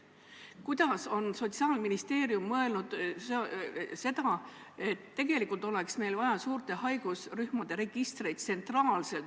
Kas Sotsiaalministeerium on mõelnud, et meil oleks vaja suurte haigusrühmade tsentraalseid registreid?